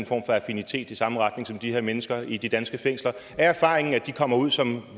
for affinitet i samme retning som de her mennesker i de danske fængsler er erfaringen så at de kommer ud som